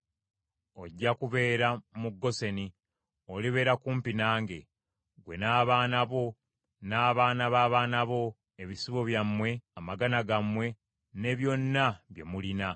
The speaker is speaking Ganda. ojja kubeera mu Goseni , olibeera kumpi nange. Ggwe n’abaana bo, n’abaana b’abaana bo, ebisibo byammwe, amagana gammwe ne byonna bye mulina;